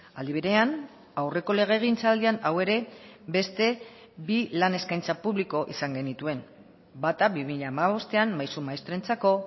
aldi berean aurreko legegintzaldian hau ere beste bi lan eskaintza publiko izan genituen bata bi mila hamabostean maisu maistrentzako